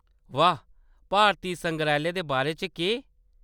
वाह्‌‌ ... भारती संग्रैहालय दे बारे च केह्‌‌ ?